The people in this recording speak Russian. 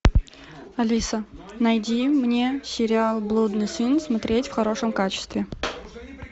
алиса найди мне сериал блудный сын смотреть в хорошем качестве